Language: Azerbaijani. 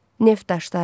Neft daşları.